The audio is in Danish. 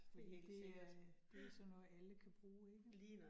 Det det er det sådan noget, alle kan bruge ikke